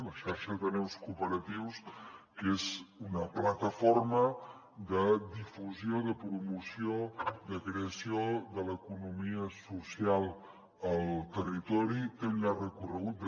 la xarxa d’ateneus cooperatius que és una plataforma de difusió de promoció de creació de l’economia social al territori té un llarg recorregut